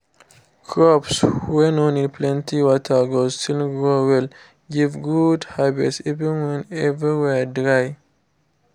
crops wey no need plenty water go still grow well give good harvest even when every where dry